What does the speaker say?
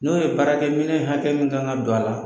N'o ye baarakɛminɛn hakɛ min kan ka don a la